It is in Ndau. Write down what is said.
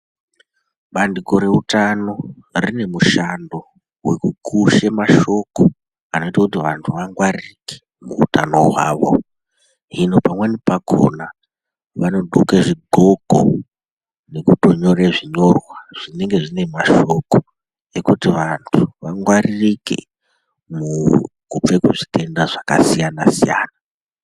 Bandiko reutano rine mushando wekukushe mashoko anoite kuti vantu vangwaririke muutano hwawo. Hino pamweni pakona vanodxoke zvidxoko nekutonyore zvinyorwa zvinenge zvine mashoko ekuti vantu vangwaririke kubve kuzvitenda zvakasiyana siyana.